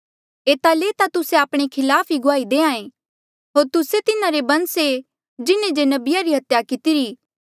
एता ले ता तुस्से आपणे खिलाफ ई गुआही देहां ऐें कि होर तुस्से तिन्हारे बंस ऐें जिन्हें जे नबिया री हत्या कितरी